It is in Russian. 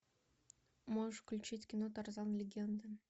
можешь включить кино тарзан легенда